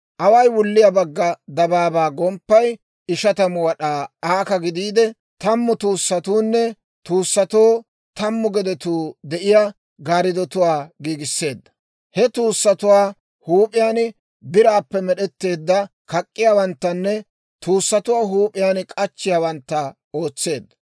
Away wulliyaa bagga dabaabaa gomppay ishatamu wad'aa aaka gidiide, tammu tuussatuunne tuussatoo tammu gedetuu de'iyaa gaariddotuwaa giigisseedda; he tuussatuwaa huup'iyaan biraappe med'etteedda kak'k'iyaawanttanne tuussatuwaa huup'iyaan k'achchiyaawantta ootseedda.